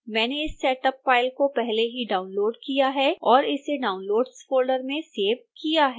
मैंने इस setup file को पहले ही डाउनलोड़ किया है और इसे downloads फोल्डर में सेव किया है